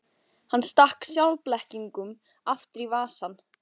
Hann stakk sjálfblekungnum aftur í vasann.